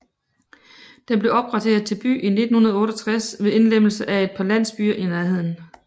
Den blev opgraderet til by i 1968 ved indlemmelse af et par landsbyer i nærheden